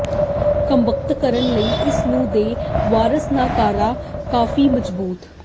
ਕ੍ਰਮਬੰਧ ਕਰਨ ਲਈ ਇਸ ਨੂੰ ਦੇ ਵਾਰਸ ਨਾ ਕਰਦਾ ਕਾਫੀ ਮਜਬੂਰ